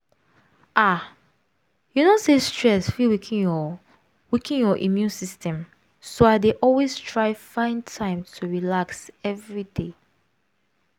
ah you know say stress fit weaken your weaken your immune system so i dey always try find time to relax every day